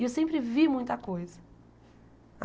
E eu sempre vi muita coisa.